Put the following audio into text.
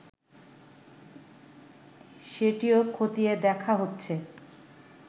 সেটিও খতিয়ে দেখা হচ্ছে